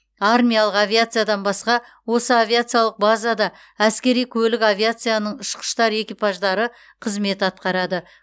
армиялық авиациядан басқа осы авиациялық базада әскери көлік авиацияның ұшқыштар экипаждары қызмет атқарады